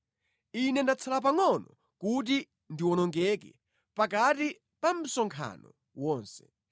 Ine ndatsala pangʼono kuti ndiwonongeke pakati pa msonkhano wonse.”